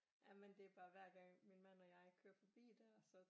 Jamen det er bare hver gang min mand og jeg kører forbi der så